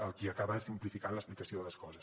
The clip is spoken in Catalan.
el que acaba és simplificant l’explicació de les coses